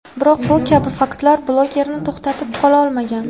Biroq bu kabi faktlar bloglerni to‘xtatib qola olmagan.